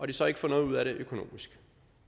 de så ikke får noget ud af det økonomisk